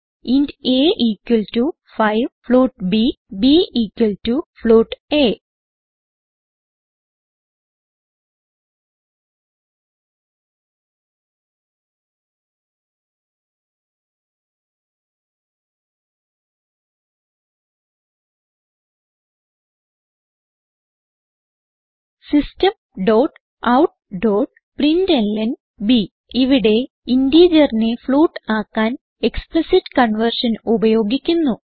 int a 5 float ബ് b a systemoutപ്രിന്റ്ലൻ ഇവിടെ ഇന്റിജറിനെ ഫ്ലോട്ട് ആക്കാൻ എക്സ്പ്ലിസിറ്റ് കൺവേർഷൻ ഉപയോഗിക്കുന്നു